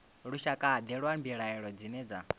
lushakade lwa mbilaelo dzine dza